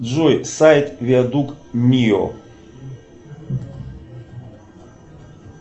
джой сайт виадук мио